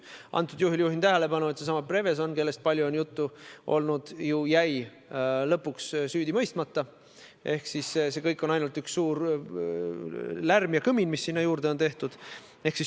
Antud juhul juhin tähelepanu asjaolule, et seesama Prevezon, kellest on palju juttu olnud, jäi lõpuks süüdi mõistmata ehk see kõik on olnud ainult üks suur lärm ja kõmin, mis sinna juurde on tehtud.